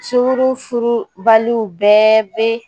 Sunguru furubaliw bɛɛ bɛ